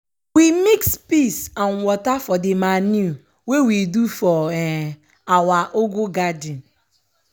we mix piss and wata for de manure wey we do for um awa ugu farm.